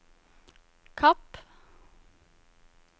Kapp